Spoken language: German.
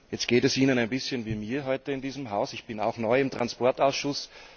Jetzt geht es Ihnen ein bisschen wie mir heute in diesem Haus ich bin auch neu im Verkehrsausschuss.